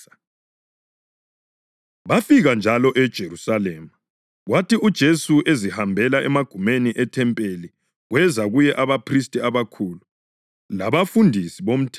Bafika njalo eJerusalema, kwathi uJesu ezihambela emagumeni ethempeli kweza kuye abaphristi abakhulu, labafundisi bomthetho kanye labadala.